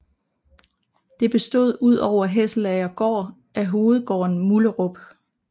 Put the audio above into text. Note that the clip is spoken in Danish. Det bestod ud over Hesselagergaard af hovedgården Mullerup